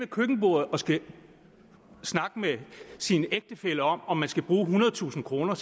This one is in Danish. køkkenbordet og skal snakke med sin ægtefælle om om man skal bruge ethundredetusind kr